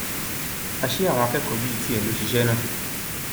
àṣé àwọn akẹkọọ bíi tiẹ ló ṣiṣẹ náà